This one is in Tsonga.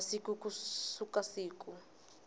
wa masiku ku suka siku